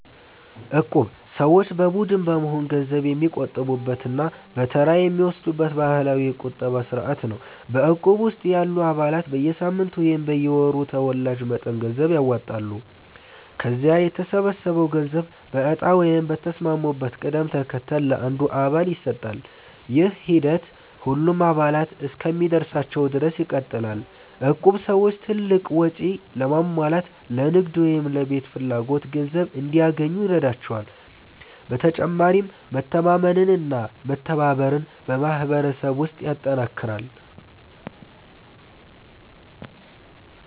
እቁብ ሰዎች በቡድን በመሆን ገንዘብ የሚቆጥቡበት እና በተራ የሚወስዱበት ባህላዊ የቁጠባ ስርዓት ነው። በእቁብ ውስጥ ያሉ አባላት በየሳምንቱ ወይም በየወሩ ተወላጅ መጠን ገንዘብ ያዋጣሉ። ከዚያ የተሰበሰበው ገንዘብ በእጣ ወይም በተስማሙበት ቅደም ተከተል ለአንድ አባል ይሰጣል። ይህ ሂደት ሁሉም አባላት እስኪደርሳቸው ድረስ ይቀጥላል። እቁብ ሰዎች ትልቅ ወጪ ለማሟላት፣ ለንግድ ወይም ለቤት ፍላጎት ገንዘብ እንዲያገኙ ይረዳቸዋል። በተጨማሪም መተማመንና መተባበርን በማህበረሰብ ውስጥ ያጠናክራል።